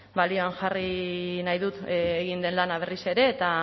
balioan jarri nahi dut egin den lana berriz ere eta